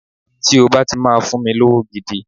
Tí o bá ti máa fún mi lówó gidi